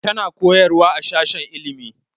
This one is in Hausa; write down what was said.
Tana koyarwa a sashen ilimi